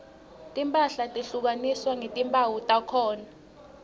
timphahla tehlukaniswa ngetimphawu takhona